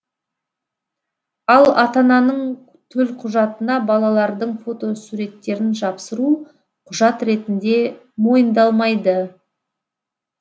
ал ата ананың төлқұжатына балалардың фотосуреттерін жапсыру құжат ретінде мойындалмайды